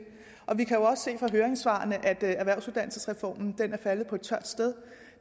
vi kan også se i høringssvarene at erhvervsuddannelsesreformen er faldet på et tørt sted